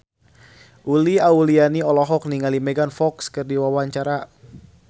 Uli Auliani olohok ningali Megan Fox keur diwawancara